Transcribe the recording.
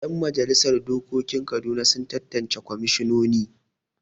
Yan majalisar dokokin Kaduna sun tattance kwamishinini.